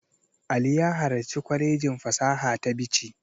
Ali ya halarci kwalejin fasaha ta Bichi.